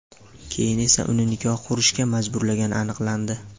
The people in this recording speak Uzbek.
keyin esa uni nikoh qurishga majburlagani aniqlandi.